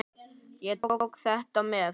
Ég tók þetta með.